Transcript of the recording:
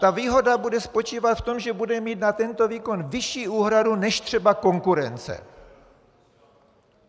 Ta výhoda bude spočívat v tom, že bude mít na tento výkon vyšší úhradu než třeba konkurence.